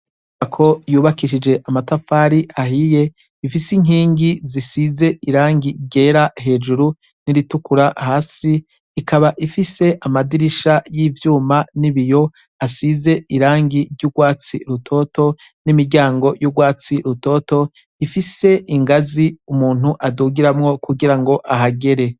Hako yubakisha amatafari ahiye bifise inkingi zisize irangi ryera hejuru niritukura hasi ikaba ifise amadirisha yivyuma yibiyo asize irangi ryurwatsi rutoto nimiryango yurwatsi rutoto rifise ingazi umuntu adugiramwo kugira ahagere